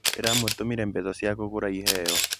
Ndĩramũtũmĩire mbeca cia kũgũra iheo.